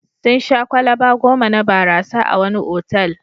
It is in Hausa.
Sun sha kwalaba goma na barasa a wani otal.